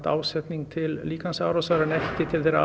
ásetning til líkamsárásar en ekki til þeirrar